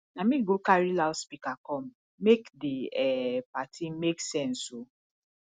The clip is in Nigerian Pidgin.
na me go carry loudspeaker come make di um party make sense o